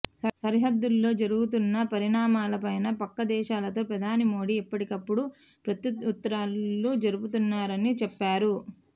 సరిహద్దుల్లో జరుగుతున్న పరిణామాల పైన పక్క దేశాలతో ప్రధాని మోడీ ఎప్పటికప్పుడు ప్రత్యుత్తరాలు జరుపుతున్నారని చెప్పారు